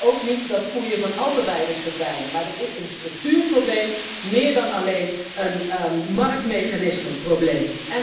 Want ik wil ook niet dat koeien van de Alpenweide verdwijnen, maar dat is een structuurprobleem, meer dan alleen een marktmechanismeprobleem.